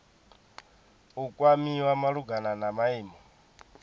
u kwamiwa malugana na maimo